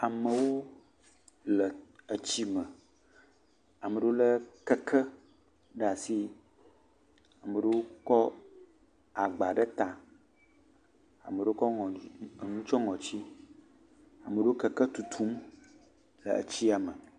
Amewo le etsi me, ame aɖewo lé keke ɖe asi, ame aɖewo kɔ agba ɖe ta, ame aɖewo ŋɔ..liŋ..eŋu tsyɔ̃ ŋɔti ame aɖewo le keke tutum le etsia me.